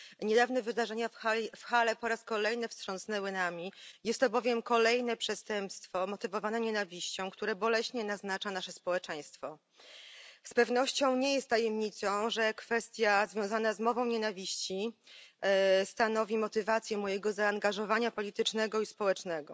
Niedawne wydarzenia w Halle znowu nami wstrząsnęły, jest to bowiem kolejne przestępstwo motywowane nienawiścią, które boleśnie naznacza nasze społeczeństwo. Z pewnością nie jest tajemnicą, że kwestie związana z mową nienawiści stanowią motywację mojego zaangażowania politycznego i społecznego.